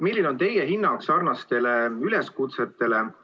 Milline on teie hinnang sellistele üleskutsetele?